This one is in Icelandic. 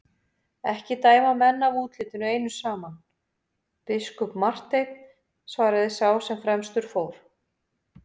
Ekki dæma menn af útlitinu einu saman, biskup Marteinn, svaraði sá sem fremstur fór.